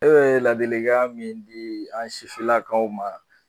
E bɛ ladilikan min di an sifinnakaw ma